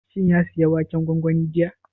Shin ya saya waken gwangwani jiya?